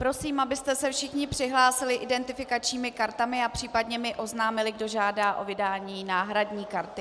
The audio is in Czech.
Prosím, abyste se všichni přihlásili identifikačními kartami a případně mi oznámili, kdo žádá o vydání náhradní karty.